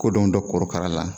Kodɔn dɔ korokara la